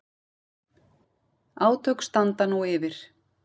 Átök standa nú yfir